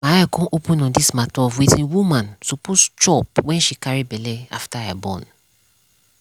my eye come open on dis mata of wetin woman suppose chop wen she carry belle after i born